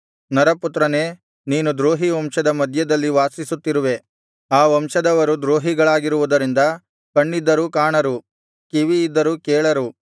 ನರಪುತ್ರನೇ ನೀನು ದ್ರೋಹಿ ವಂಶದ ಮಧ್ಯದಲ್ಲಿ ವಾಸಿಸುತ್ತಿರುವೆ ಆ ವಂಶದವರು ದ್ರೋಹಿಗಳಾಗಿರುವುದರಿಂದ ಕಣ್ಣಿದ್ದರೂ ಕಾಣರು ಕಿವಿಯಿದ್ದರೂ ಕೇಳರು